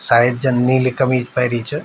सायद जन नीली कमीज पेहरि च।